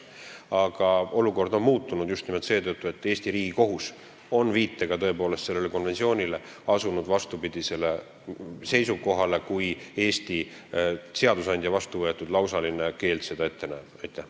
Aga olukord on muutunud just nimelt seetõttu, et Eesti Riigikohus on oma viitega asunud tõepoolest selle konventsiooni suhtes vastupidisele seisukohale, kui Eesti seadusandja vastuvõetud lausaline keeld ette näeb.